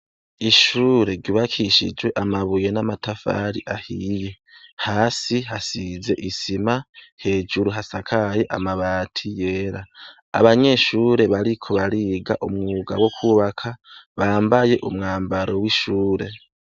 Ishure ribakishijwe amabuye n'amatafari ahiye hasi hasize isima hejuru hasakaye amabati yera, abanyeshure bariko bariga umwuga bo kwubaka bambaye umwambaro w'ishure.